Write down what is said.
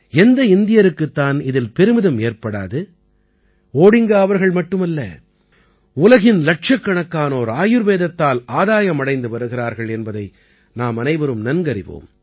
எந்த இந்தியருக்குத் தான் இதில் பெருமிதம் ஏற்படாது ஓடிங்கா அவர்கள் மட்டுமல்ல உலகின் இலட்சக்கணக்கானோர் ஆயுர்வேதத்தால் ஆதாயம் அடைந்து வருகிறார்கள் என்பதை நாமனைவரும் நன்கறிவோம்